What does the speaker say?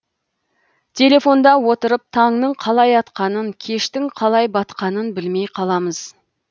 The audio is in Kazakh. телефонда отырып таңның қалай атқанын кештің қалай батқанын білмей қаламыз